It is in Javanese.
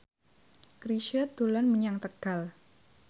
Chrisye dolan menyang Tegal